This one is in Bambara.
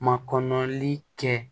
Makɔnɔli kɛ